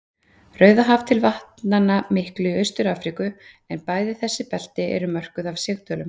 Rauðahaf til vatnanna miklu í Austur-Afríku, en bæði þessi belti eru mörkuð af sigdölum.